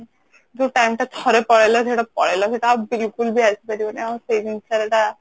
ଯୋଉ time ଟା ଥରେ ପଳେଇଲା ସେଇଟା ପଳେଇଲା ସେଇଟା ଆଉ ବିଲକୁଲ ବି ଆସି ପାରିବନି ଆଉ ସେଇ ଜିନିଷ ଟା